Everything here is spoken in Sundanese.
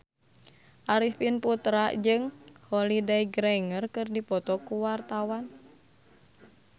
Arifin Putra jeung Holliday Grainger keur dipoto ku wartawan